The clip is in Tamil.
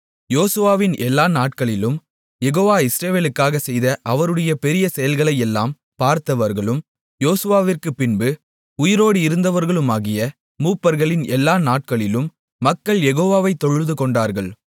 யோசுவாவின் எல்லா நாட்களிலும் யெகோவா இஸ்ரவேலுக்காகச் செய்த அவருடைய பெரிய செயல்களையெல்லாம் பார்த்தவர்களும் யோசுவாவிற்குப் பின்பு உயிரோடு இருந்தவர்களுமாகிய மூப்பர்களின் எல்லா நாட்களிலும் மக்கள் யெகோவாவைத் தொழுது கொண்டார்கள்